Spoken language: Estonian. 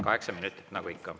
Kaheksa minutit nagu ikka.